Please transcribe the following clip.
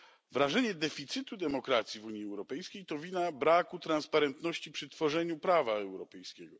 Wrażenie deficytu demokracji w Unii Europejskiej to wina braku transparentności przy tworzeniu prawa europejskiego.